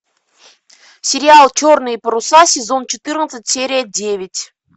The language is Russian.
сериал черные паруса сезон четырнадцать серия девять